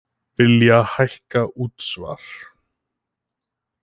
Vilja hækka útsvar